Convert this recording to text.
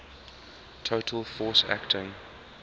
total force acting